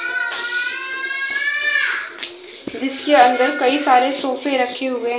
जिसके अंदर कई सारे सोफे रखे हुए--